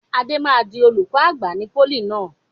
Adé máa di olùkọ́ àgbà ní pólì náà.